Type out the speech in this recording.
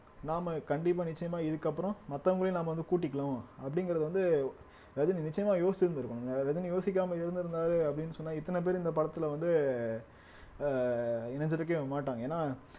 நாம கண்டிப்பா நிச்சயமா இதுக்கு அப்புறம் மத்தவங்களையும் நாம வந்து கூட்டிக்கணும் அப்படிங்கிறது வந்து ரஜினி நிச்சயமா யோசிச்சிருந்திருக்கணும் ரஜினி யோசிக்காம இருந்திருந்தாரு அப்படின்னு சொன்னா இத்தனை பேர் இந்த படத்துல வந்து ஆஹ் அஹ் இணைஞ்சிருக்கவே மாட்டாங்க ஏன்னா